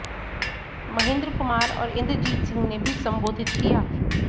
महिंद्र कुमार और इंद्रजीत सिंह ने भी संबोधित किया